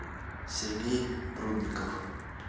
сергей прудников